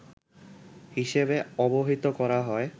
হিসেবে অবহিত করা হয়